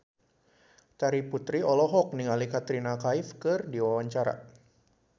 Terry Putri olohok ningali Katrina Kaif keur diwawancara